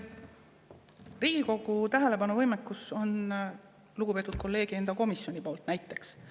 Riigikogu tähelepanu võimekus on lugupeetud kolleegi enda komisjonil, näiteks.